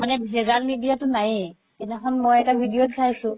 মানে ভেজাল নিদিয়াতো নাইয়ে সিদিনাখন মই এটা video ত চাইছো